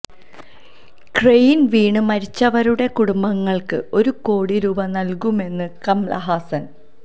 crane വീണ് മരിച്ചവരുടെ കുടുംബങ്ങള്ക്ക് ഒരു കോടി രൂപ നല്കുമെന്ന് കമല്ഹാസന്